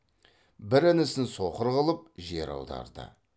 бір інісін соқыр қылып жер аударды